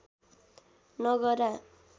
नगरा